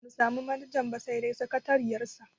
Bamu samu manajan ba sai dai sakatariyar sa.